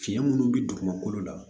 Fiɲɛ minnu bi dugumakolo la